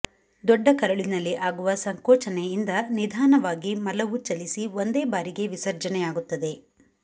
ಡೊಡ್ಡಕರುಳಿನಲ್ಲಿ ಆಗುವ ಸಂಕೋಚನೆಯಿಂದ ನಿಧಾನವಾಗಿ ಮಲವು ಚಲಿಸಿ ಒಂದೇ ಬಾರಿಗೆ ವಿಸರ್ಜನೆಯಾಗುತ್ತದೆ